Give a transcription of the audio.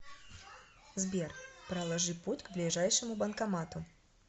сбер проложи путь к ближайшему банкомату